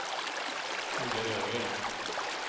Olle Ögren